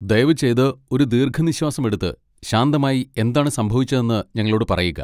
ദയവുചെയ്ത് ഒരു ദീർഘനിശ്വാസം എടുത്ത് ശാന്തമായി എന്താണ് സംഭവിച്ചതെന്ന് ഞങ്ങളോട് പറയുക.